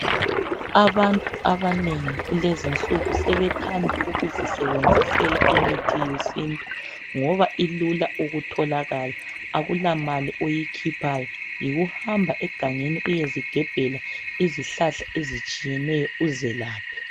Abantu abanengi kulezi nsuku sebethanda ukuzisebenzisela imithi yesintu. Ngoba ilula ukutholakala akulamali oyikhiphayo. Yikuhamba egangeni uyezigebhela izihlahla ezitshiyeneyo uzelaphe.